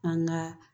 An ka